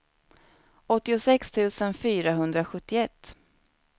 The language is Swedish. åttiosex tusen fyrahundrasjuttioett